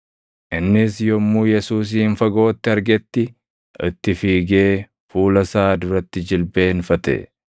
Innis yommuu Yesuusin fagootti argetti itti fiigee, fuula isaa duratti jilbeenfate.